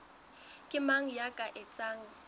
ke mang ya ka etsang